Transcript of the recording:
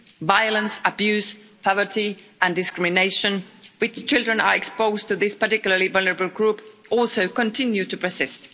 Violence, abuse, poverty and discrimination, which children are exposed to, this particularly vulnerable group, also continue to persist.